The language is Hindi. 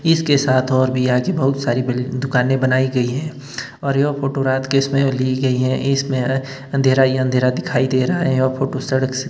इसके साथ और भी आज हि बहोत सारी बी दुकानें बनाई गई है और यह फोटो रात के समय ली गई है इसमें अंधेरा ही अंधेरा दिखाई दे रहा है और फोटो सड़क से--